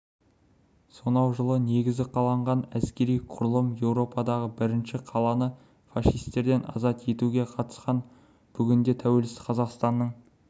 сонау жылы негізі қаланған әскери құрылым еуропадағы бірнеше қаланы фашистерден азат етуге қатысқан бүгінде тәуелсіз қазақстанның